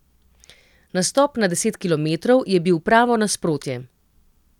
Nastop na deset kilometrov je bil pravo nasprotje.